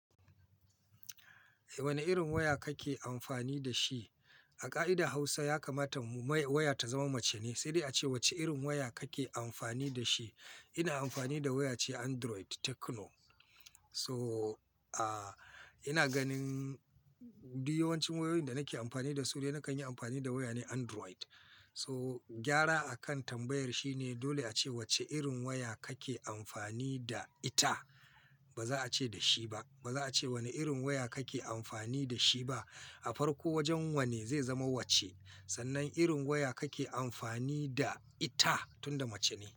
"Wane irin waya kake amfani da shi?" A ƙa'ida Hausa ya kamata mu maida waya ta zama mace ne. Sai dai a ce "wace irin waya kake amfani da shi?" Ina amfani da waya ce Android Techno. So, ah, ina ganin duk yawancin wayoyin da nake amfani da su dai nakan yi amfani da waya ne Android. So, gyara akan tambayar shine dole a ce "wace irin waya kake amfani da ita?" Ba za a ce da "shi" ba. Ba za a ce "wane irin waya kake amfani da shi" ba. Afarku wajen wane zai zama wacce. Sannan irin waya kake amfani da ita, tunda mace ne.